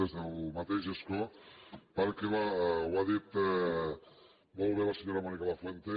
des del mateix escó perquè ho ha dit molt bé la senyora mònica lafuente